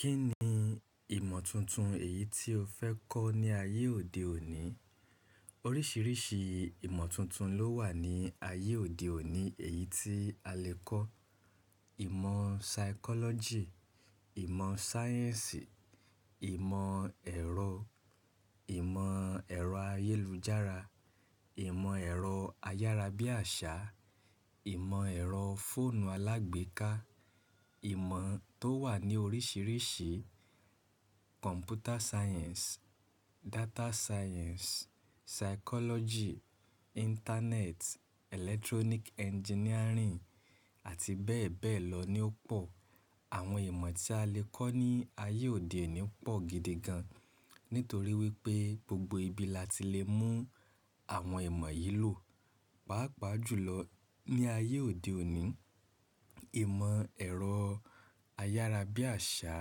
Kí ni ìmọ̀ tuntun èyí tí o fẹ́ kọ́ ní ayé òde òní? Oríṣìíríṣìí ìmọ̀ tuntun ló wà ní ayé òde òní èyí tí a lè kọ́. Ìmọ̀ psychology, ìmọ̀ sáyẹ́ǹsì, ìmọ̀ ẹ̀rọ, ìmọ̀ ẹ̀rọ ayélujára, ìmọ̀ ẹ̀rọ ayárabíàṣá, ìmọ̀ ẹ̀rọ fóònù alágbèéká, ìmọ̀ tó wà ní oríṣìíríṣìí, computer science, data science, psychology, internet, electronic engineering àti bẹ́ẹ̀ bẹ́ẹ̀ lọ ni ó pọ̀. Àwọn ìmọ̀ tí a lè kọ́ ní ayé òde òní pọ̀ gidi gan, nítorí wípé gbogbo ibi la ti lè mú àwọn ìmọ̀ yìí lò. Pàápàá jùlọ ní ayé òde òní, ìmọ̀ ẹ̀rọ ayárabíàṣá,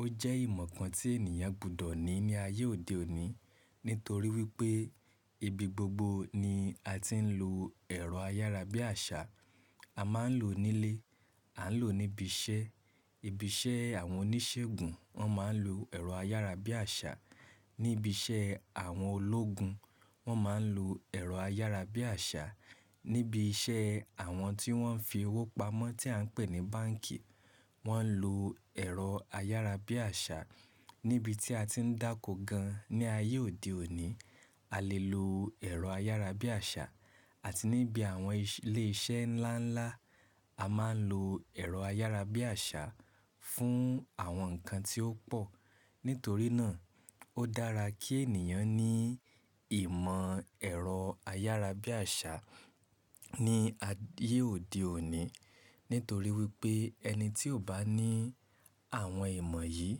ó jẹ́ ìmọ̀ kan tí ènìyàn gbúdọ̀ ní ní ayé òde òní, nítorí wípé ibi gbogbo ni a ti ń lo ẹ̀rọ ayárabíàṣá. A máa ń lò ó nílé, a ń lò ó níbi iṣẹ́. Ibi iṣẹ́ àwọn oníṣègùn wọ́n máa ń lo ẹ̀rọ ayárabíàṣá. Níbi iṣẹ́ àwọn ológun wọ́n máa ń lo ẹ̀rọ ayárabíàṣá. Níbi iṣẹ́ àwọn tí wọ́n ń fi owó pamọ́ tí à ń pè ní báǹkì, wọ́n ń lo ẹ̀rọ ayárabíàṣá. Níbi tí a ti ń dáko gan ní ayé òde òní, a lè lo ẹ̀rọ ayárabíàṣá àti níbi àwọn ilé iṣẹ́ ńlá ńlá, a máa ń lo ẹ̀rọ ayárabíàṣá fún àwọn nǹkan tí ó pọ̀. Nítorí náà, ó dára kí ènìyàn ní ìmọ̀ ẹ̀rọ ayárabíàṣá ní ayé òde òní. Nítorí wípé ẹni tí ò bá ní àwọn ìmọ̀ yìí,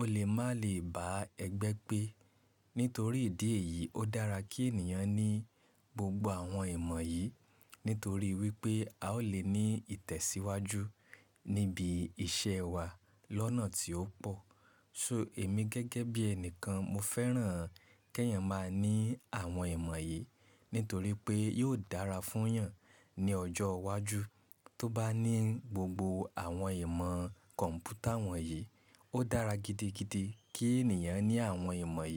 ó lè má lè bá ẹgbẹ́ pé. Nítorí ìdí èyí, ó dára kí ènìyàn ní gbogbo àwọn ìmọ̀ yìí, nítorí wípé a ó lè ní ìtẹ̀síwájú níbi iṣẹ́ wa lọ́nà tí ó pọ̀. So èmi gẹ́gẹ́ bí ẹnìkan, mo fẹ́ràn kí èeyàn máa ní àwọn ìmọ̀ yìí, nítorí pé yóò dára fún yàn ní ọjọ́ wájú. Tó bá ní gbogbo àwọn ìmọ̀ kọ̀m̀pútà wọ̀nyí, ó dára gidigidi kí ènìyàn ní àwọn ìmọ̀ yìí.